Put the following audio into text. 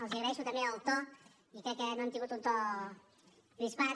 els agraeixo també el to i crec que no han tingut un to crispat